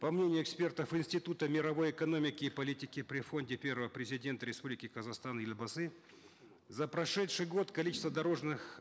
по мнению экспертов института мировой экономики и политики при фонде первого президента республики казахстан елбасы за прошедший год количество дорожных